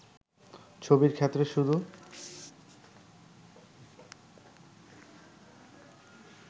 ছবির ক্ষেত্রে শুধু